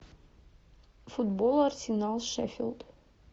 футбол арсенал шеффилд